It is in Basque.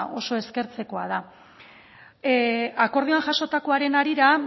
oso eskertzekoa da akordioan jasotakoaren harira